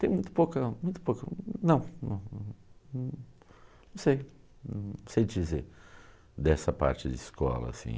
Tem muito pouca, muito pouca, não, não, não, não sei, não sei dizer dessa parte de escola, assim.